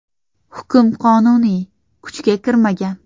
Hukm qonuniy kuchga kirmagan.